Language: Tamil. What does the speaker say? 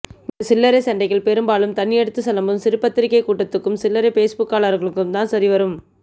இந்தச் சில்லறைச்சண்டைகள் பெரும்பாலும் தண்ணியடித்துச் சலம்பும் சிறுபத்திரிகைக்கூட்டத்துக்கும் சில்லறை ஃபேஸ்புக்காளர்களுக்கும்தான் சரிவரும்